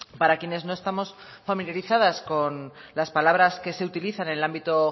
para quienes no estamos familiarizadas con las palabras que se utilizan en el ámbito